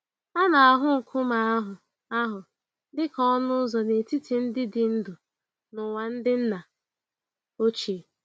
A na-ahụ nkume ahụ ahụ dị ka ọnụ ụzọ n'etiti ndị dị ndụ na ụwa ndị nna ochie.